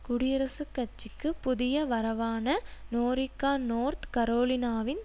குடியரசுக் கட்சிக்கு புதிய வரவான நோரிக்கா நோர்த் கரோலினாவின்